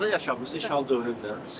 Harda yaşamısınız işğal dövründə?